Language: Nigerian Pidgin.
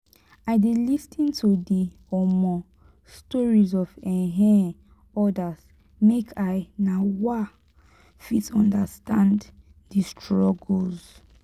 i dey lis ten to di um stories of um odas make i um fit understand di struggles.